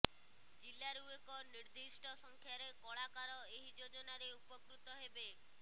ଜିଲ୍ଲାରୁ ଏକ ନିର୍ଦିଷ୍ଟ ସଂଖ୍ୟାରେ କଳାକାର ଏହି ଯୋଜନାରେ ଉପକୃତ ହେବେ